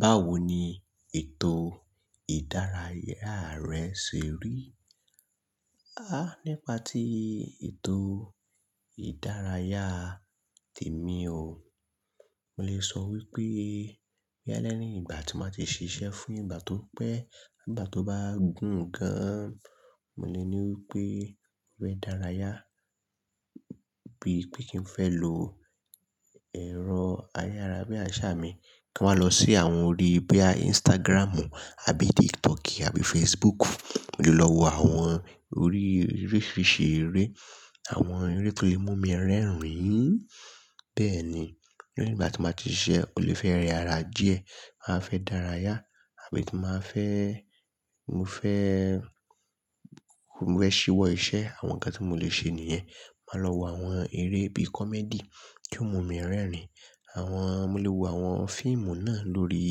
Báwo ni ètò ìdárayá rẹ ṣe rí? Há! Nípa tí ètò ìdárayá tèmi o, mo lè sọ wípé, bóyá léyìn ìgbà tí màá ti ṣiṣẹ́ fún ìgbà tó pẹ́, ìgbà tó bá gùn gan an, mo lè ní wípé mo fẹ́ daraya bí i pé kín n fẹ́ lo ẹ̀rọ ayára bí àṣá mi, kí n máa lọ sí àwọn orí bí i Instagramu àbí TikToki àbí Facebook. Mo lè lọ wo àwọn orí oríṣiríṣi eré, àwọn eré tó lè mú mi rẹ́rìn-ín. Bẹ́ẹ̀ni, lẹ́yìn ìgbà tí màá ti ṣiṣẹ́ mo lè fẹ́ rẹ ara díẹ̀, màá fẹ́ daraya àbí tí màá fẹ́, mo fẹ́, mo fẹ́ ṣíwọ́ iṣẹ́, àwọn nǹkan tí mo lè ṣe nìyẹn. Màá lọ wo àwọn eré bí i comedy tí ó mú mi rẹ́rìn-ín. Àwọn, mo lè wo àwọn fíìmù náà lórí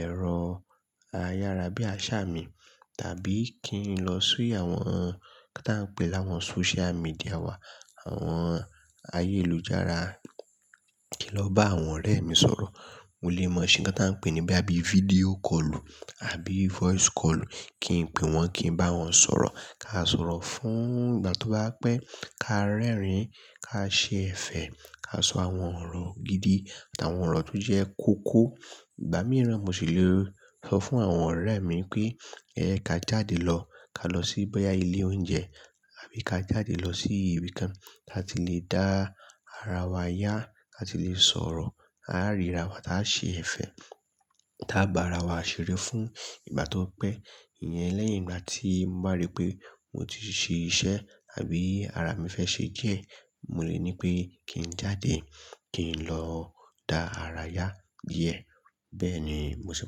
ẹ̀rọ ayára bí àṣá mi. Tàbí kí n lọ sí àwọn nǹkan tí wọ́n ń pè láwọn social media wa, àwọn ayélujára, kí n lọ bá àwọn ọ̀rẹ́ mi sọ̀rọ̀. Mo lè maa ṣe ńkan tí wọ́n ń pè ní bí i video callu àbí voice callu, kí n pè wọ́n, kí n bá wọn sọ̀rọ̀. Ka sọ̀rọ̀ fún ìgbà tó bá pẹ́, ká rẹ́rìn-ín, ká ṣe ẹ̀fẹ̀, ká sọ àwọn ọ̀rọ̀ gidi àti àwọn ọ̀rọ̀ tó jẹ́ kókó. Ìgbà mìíràn mo sì le sọ fún àwọn ọ̀rẹ́ mi pé, "Ẹ ka jáde lọ, ka lọ sí bóyá ilé oúnjẹ àbí ka jáde lọ sí ibi kan kí a ti lè dá ara wa yá, kí a ti lè sọ̀rọ̀, á ríra wa, táa ṣe ẹ̀fẹ̀, táa gbá ara wa ṣeré fún ìgbà tó pẹ́." Ìyẹn lẹ́yìn ìgbà tí mo bá rí pé mo ti ṣe iṣẹ́ àbí ara mi fẹ́ ṣe díẹ̀, mo lè ní pé kí n jáde, kí n lọ dá ara yá díẹ̀. Bẹ́ẹ̀ni, mo sì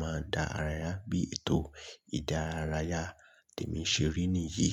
máa ń dá ara yá bí ètò ìdárayá tèmi ṣe rí nìyí.